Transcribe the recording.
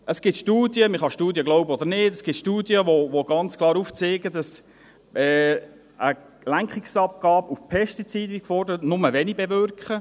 Es gibt Studien – man kann Studien glauben oder nicht –, die ganz klar aufzeigen, dass Lenkungsabgaben auf Pestizide – wie gefordert –, nur wenig bewirken.